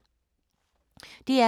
DR K